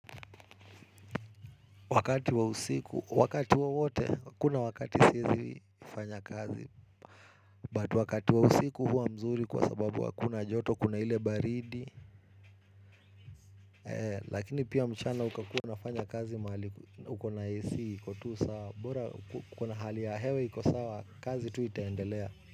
Wakati wa usiku, wakati wowote, hakuna wakati siwezi fanya kazi. But wakati wa usiku hua mzuri kwa sababu hakuna joto, kuna ile baridi. Lakini pia mchana ukakua nafanya kazi mahali uko na AC, iko tu sawa. Bora kuna hali ya hewa, iko sawa, kazi tu itaendelea.